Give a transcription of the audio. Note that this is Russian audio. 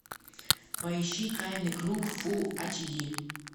поищи тайный круг фул эйч ди